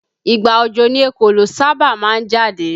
Ìgbà òjò ni ekòló sábà máa ń jáde